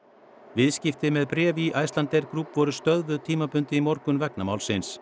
viðskipti með bréf í Icelandair Group voru stöðvuð tímabundið í morgun vegna málsins